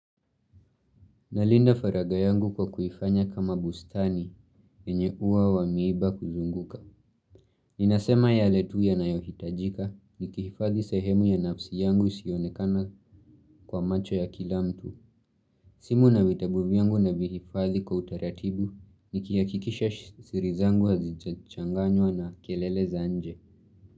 Nalinda faraga yangu kwa kuifanya kama bustani enye ua wa miiba kuzunguka. Inasema yale tu yanayohitajika nikihifadhi sehemu ya nafsi yangu isiyonekana kwa macho ya kila mtu. Simu na vitabu vyangu navihifadhi kwa utaratibu nikihakikisha siri zangu hazichanganywa na kelele za nje.